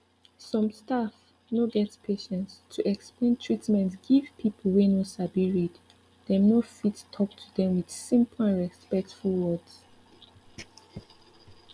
some staff no get patience to explain treatment give pipu wey no sabi read dem no fit talk to dem with simple and respectful words